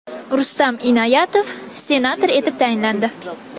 Rustam Inoyatov senator etib tayinlandi.